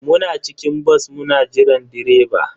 Muna cikin bas muna jiran direba.